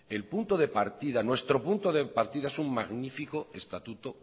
el punto de partida nuestro punto de partida es un magnífico estatuto